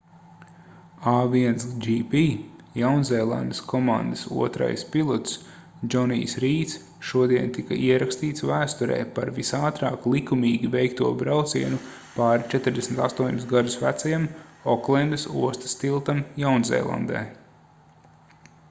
a1gp jaunzēlandes komandas otrais pilots džonijs rīds šodien tika ierakstīts vēsturē par visātrāk likumīgi veikto braucienu pāri 48 gadus vecajam oklendas ostas tiltam jaunzēlandē